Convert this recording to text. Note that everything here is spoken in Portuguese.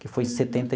Que foi em setenta e.